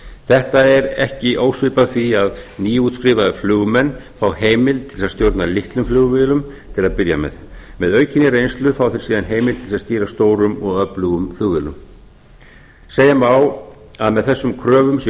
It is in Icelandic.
þetta er ekki ósvipað því að nýútskrifaðir flugmenn fái heimild til að stjórna litlum flugvélum til að byrja með með aukinni reynslu fá þeir síðan heimild til að stýra stórum og öflugum flugvélum segja má að með þessum kröfum sé